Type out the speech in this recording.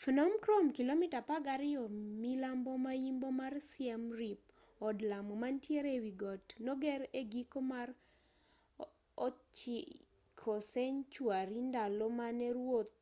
phnom krom kilomita 12 milambo maimbo mar siem reap od lamo mantiere ewigot noger egiko mar 9th century ndalo mane ruoth